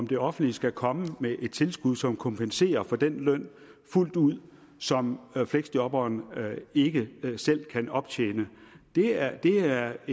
det offentlige skal komme med et tilskud som kompenserer for den løn fuldt ud som fleksjobberne ikke selv kan optjene det er er